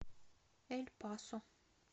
эль пасо